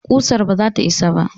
Ƙusar ba zata isa ba